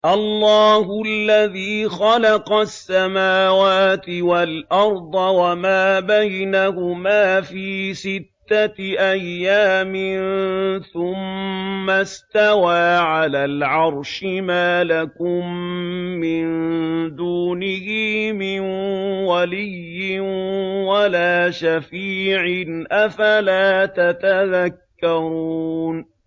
اللَّهُ الَّذِي خَلَقَ السَّمَاوَاتِ وَالْأَرْضَ وَمَا بَيْنَهُمَا فِي سِتَّةِ أَيَّامٍ ثُمَّ اسْتَوَىٰ عَلَى الْعَرْشِ ۖ مَا لَكُم مِّن دُونِهِ مِن وَلِيٍّ وَلَا شَفِيعٍ ۚ أَفَلَا تَتَذَكَّرُونَ